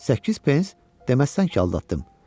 8 pens, deməsən ki, aldatdım.